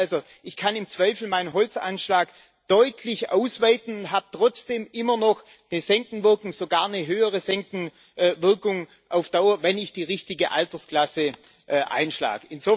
Das heißt also, ich kann im Zweifel meinen Holzeinschlag deutlich ausweiten, habe trotzdem immer noch eine Senkenwirkung, sogar eine höhere Senkenwirkung auf Dauer, wenn ich die richtige Altersklasse einschlage.